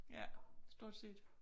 Ja stort set